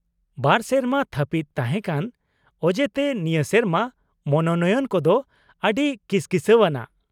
ᱵᱟᱨ ᱥᱮᱨᱢᱟ ᱛᱷᱟᱯᱤᱫ ᱛᱟᱦᱮᱸ ᱠᱟᱱ ᱚᱡᱮ ᱛᱮ ᱱᱤᱭᱟᱹ ᱥᱮᱨᱢᱟ ᱢᱚᱱᱚᱱᱚᱭᱚᱱ ᱠᱚᱫᱚ ᱟ.ᱰᱤ ᱠᱤᱥᱠᱤᱥᱟ.ᱣ ᱟᱱᱟᱜ ᱾